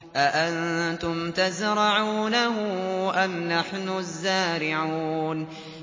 أَأَنتُمْ تَزْرَعُونَهُ أَمْ نَحْنُ الزَّارِعُونَ